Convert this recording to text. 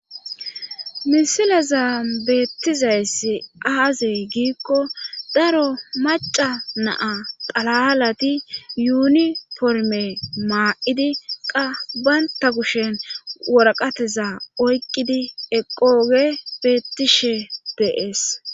misilazan beettizayssi aaze giikko daro maca naa xalalati yuuniforme maa7idi qa baynta kushen woraqateza oyqqidi eqoge bettishe deees